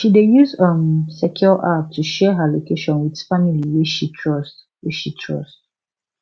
she dey use um secure app to share her location with family wey she trust wey she trust